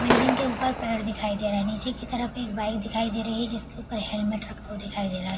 Building के ऊपर पेड़ दिखाई दे रहा है। नीचे की तरफ एक बाइक दिखाई दे रही है जिसके ऊपर हेलमेट रखा हुआ दिखाई दे रहा है।